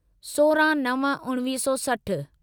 सोरहं नव उणिवीह सौ सठ